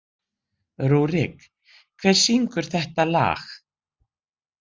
Rúrik, hver syngur þetta lag?